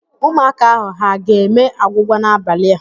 Ụmụaka ahụ ha ga-eme agwụgwa n'abalị a?